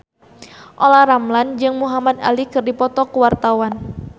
Olla Ramlan jeung Muhamad Ali keur dipoto ku wartawan